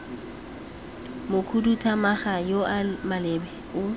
mokhuduthamaga yo o maleba o